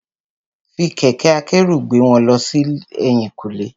Fi kẹ̀kẹ́ akẹ́rù gbé wọn lọ sẹ́yìn kùlé.